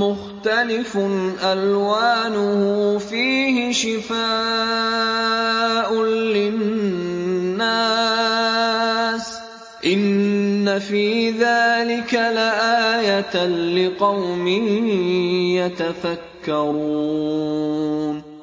مُّخْتَلِفٌ أَلْوَانُهُ فِيهِ شِفَاءٌ لِّلنَّاسِ ۗ إِنَّ فِي ذَٰلِكَ لَآيَةً لِّقَوْمٍ يَتَفَكَّرُونَ